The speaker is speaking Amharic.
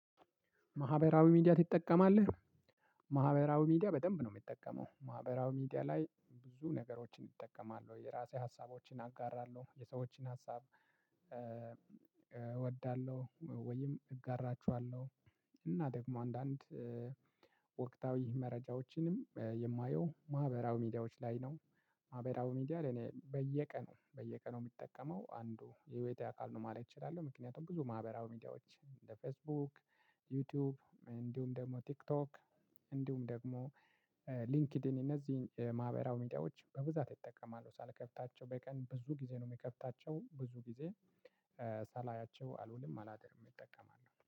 "ማህበራዊ ሚዲያ ትጠቀማለህ?" ማህበራዊ ሚዲያ በደንብ ነው የሚጠቀመው። ማህበራዊ ሚዲያ ላይ ብዙ ነገሮችን እጠቀማለሁ። ወይ የራሴ ሀሳቦችን አጋራለሁ፣ የሰዎችን ሀሳብ እወዳለሁ፣ ወይም እጋራቸዋለሁ፣ እና ደግሞ አንዳንድ ወቅታዊ መረጃዎችንም የማየው ማህበራዊ ሚዲያዎች ላይ ነው። ማህበራዊ ሚዲያ ለኔ በየቀኑ በየቀኑ የምጠቀመው አንዱ የህይወቴ አካል ነው ማለት እችላለሁ። ምክንያቱም ብዙ ማህበራዊ ሚዲያዎች እንደ ፌስቡክ፣ ዩትዩብ፣ እንዲሁም ደግሞ ቲክቶክ እንዲሁም ደግሞ ሊንክድን እነዚህን ማህበራዊ ሚዲያዎች በብዛት እጠቀማለሁ ሳልከፍታቸው በቀን ብዙ ጊዜ ነው የሚከፍታቸው ብዙ ጊዜ ሳላያቸው አልውልም አላድርም እጠቀማለሁ።